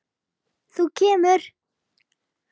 Þú kemur.